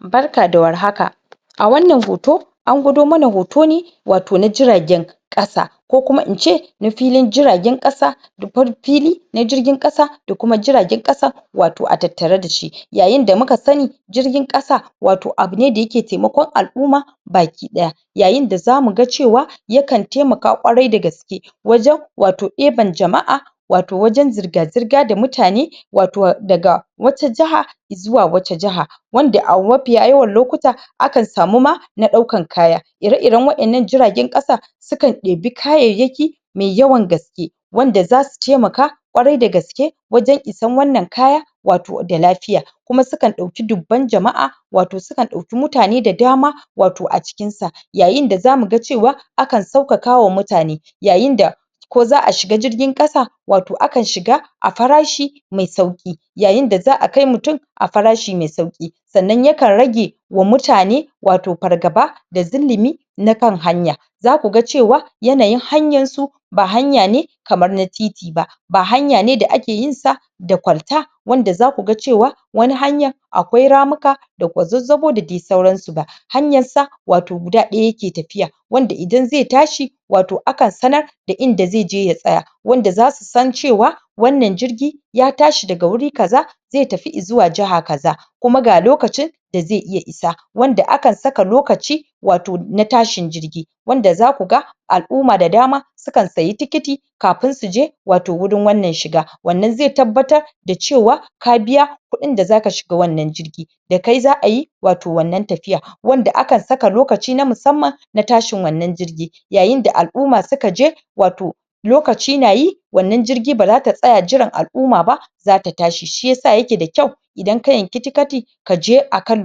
Barka da warhaka a wannan hoto an gwado mana hoto ne wato na jiragen ƙasa ko kuma ince na filin jiragen ƙasa da? fili na jirgin ƙasa da kuma jiragen ƙasa wato a tattare dashi. Yayinda muka sani jirgin ƙasa wato abu ne da yake temakon al'uma baki ɗaya yayinda zamuga cewa yakan temaka ƙwarai da gaske wajen wato eban jama'a wato wajen zirga-zirga da mutane wato daga wata jiha izuwa wata jiha wanda a mafiya yawan lokuta akan samu ma na ɗaukan kaya ire-iren waƴannan jiragen ƙasa sukan ɗebi kayayyaki me yawan gaske wanda zasu temaka ƙwarai da gaske wajen isan wannan kaya wato da lafiya kuma sukan ɗauki dubban jama'a wato sukan ɗauki mutane da dama wato a cikin sa yayinda zamuga cewa akan saukaka wa mutane yayinda ko za a shiga jirgin ƙasa wato akan shiga a farashi me sauƙi yayinda za a kai mutum a farashi me sauƙi sannan yakan rage wa mutane wato fargaba da zulumi na kan hanya zakuga cewa, yanayin hanyansu ba hanya ne kamar na titi ba ba hanya ne da ake yinsa da kwalta wanda zakuga cewa wani hanyan akwai ramuka da kwazazzabo, da dai sauransu ba hanyar sa wato guda ɗaya yake tafiya wanda idan ze tashi wato akan sanar da inda ze je ya tsaya wanda zasu san cewa wannan jirgi ya tashi daga wuri kaza ze tafi izuwa jiha kaza kuma ga lokacin da ze iya isa wanda akan saka lokaci wato na tashin jirgi wanda zakuga al'uma da dama sukan sayi tikiti kafin suje wato wurin wannan shiga wannan ze tabbatar da cewa ka biya kuɗin da zaka shiga wannan jirgi da kai za ayi wato wannan tafiya, wanda aka saka lokaci na musamman na tashin wannan jirgi yayinda al'uma suka je wato lokaci nayi wannan jirgi bara ta tsaya jiran al'uma ba zata tashi. Shiyasa yake da kyau idan ka yanki tikati kaje akan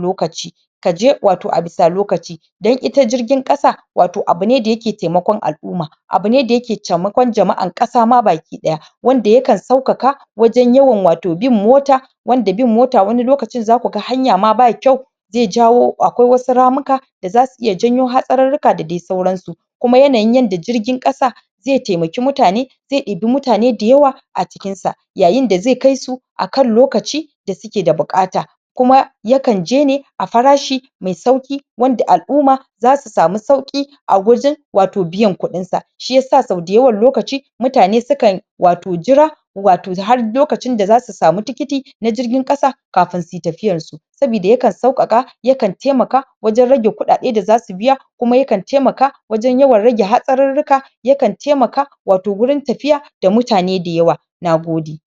lokaci kaje wato abisa lokaci dan ita jirgin ƙasa wato abu ne da yake temakon al'uma abu ne da yake temakon jama'an ƙasa ma baki ɗaya wanda yakan saukaka wajen yawan wato bin mota wanda bin mota wani lokacin zakuga hanya ma ba kyau ze jawo akwai wasu ramuka da zasu iya janyo wasu hatsarurruka da dai sauran su kuma yanayin yanda jirgin ƙasa ze temaki mutane ze ɗibi mutane dayawa a cikinsa yayinda ze kaisu akan lokaci da suke da buƙata kuma yakan je ne a farashi me sauƙi wanda al'uma zasu samu sauƙi a wajen wato biyan kuɗin sa shiyasa sau dayawan lokaci mutane sukan wato jira wato da har lokacin da zasu sami tikiti na jirgin ƙasa, kafin suyi tafiyar su sabida yakan sauƙaƙa yakan temaka wajen rage kuɗaɗe da zasu biya kuma yakan temaka wajen rage yawan hatsarurruka yakan temaka wato gurin tafiya da mutane dayawa nagode